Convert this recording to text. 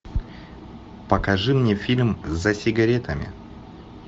покажи мне фильм за сигаретами